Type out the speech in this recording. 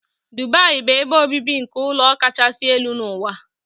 Dubai bụ ebe obibi nke ụlọ kachasị elu n'ụwa.